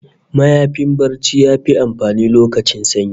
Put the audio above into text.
Mayafin barci yafi amfani lokacin sanyi